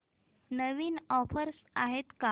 नवीन offers आहेत का